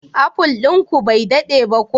Apple din ku bai dade ba ko?